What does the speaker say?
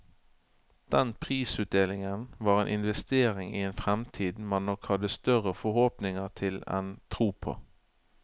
Den prisutdelingen var en investering i en fremtid man nok hadde større forhåpninger til enn tro på.